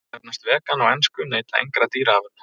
Þær sem nefnast vegan á ensku neyta engra dýraafurða.